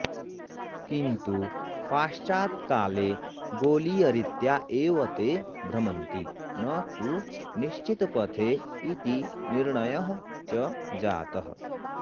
किन्तु पाश्चात्काले गोलीयरीत्या एव ते भ्रमन्ति न तु निश्चितपथे इति निर्णयः च जातः